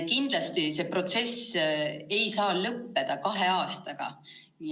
Kindlasti see protsess ei saa lõppeda kahe aastaga.